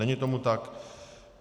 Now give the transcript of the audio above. Není tomu tak.